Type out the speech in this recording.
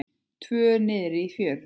Tvö niðri í fjöru.